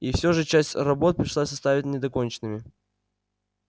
и все же часть работ пришлось оставить недоконченными